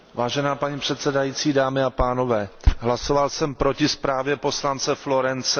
Vážená paní předsedající, dámy a pánové, hlasoval jsem proti zprávě poslance Florenze.